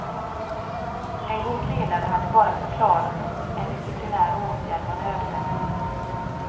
En god ledare hade bara förklarat att en disciplinär åtgärd var nödvändig.